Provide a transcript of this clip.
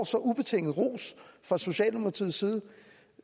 så ubetinget ros fra socialdemokratiets side det